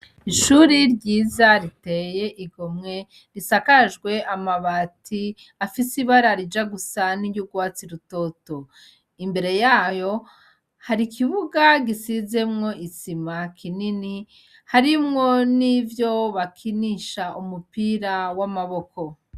ishuri ryiza riteye igomwe risakajwe amabati afise ibara rija gusa niry'urwatsi rutoto, imbere yayo hari ikibuga gisizemwo isima kinini harimwo n'ivyo bakinisha umupira w'amaboko.